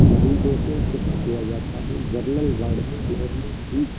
मरीजों को सुक्त किया जाता है जनरल वार्ड में नॉर्मल --